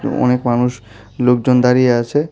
অনেক মানুষ লোকজন দাঁড়িয়ে আছে।